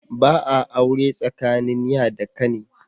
Ba a aure tsakanin ya da kani.